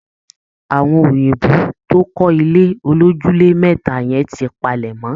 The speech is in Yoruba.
Àwọn òyìnbó tó kọ́ ilé olójúlé mẹ́ta yẹn ti palẹ̀ mọ́